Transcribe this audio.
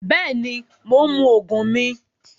Bẹẹni, Mo ń mú òògùn mì